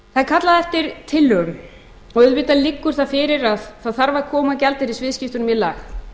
kallað eftir tillögum og auðvitað liggur það fyrir að það þarf að koma gjaldeyrisviðskiptum í lag